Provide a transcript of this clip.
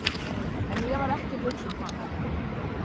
En ég var ekki að hugsa um hann.